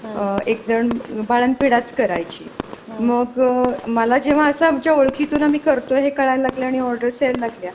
एकजण बाळंतविडाचं करायची मग मला जेव्हा असं आमच्या ओळखीतून आम्ही करतो हे कळायला लागल आणि ऑर्डर्स यायला लागल्या.